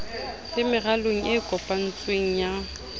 le meralong e kopantsweng ya